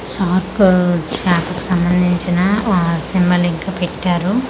Shark shark కు సంబందించిన ఆ సింబాలిక్ గా పెట్టారు.